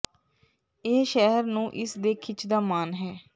ਇਹ ਸ਼ਹਿਰ ਨੂੰ ਇਸ ਦੇ ਖਿੱਚ ਦਾ ਮਾਣ ਹੈ